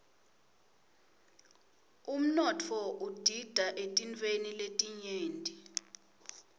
umnotfo udita eetintfweni letinyenti